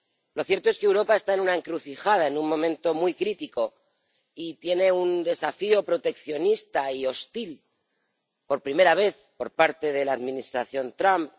Lo cierto es que Europa está en una encrucijada, en un momento muy crítico y se enfrenta a un desafío proteccionista y hostil, por primera vez, por parte de la administración Trump.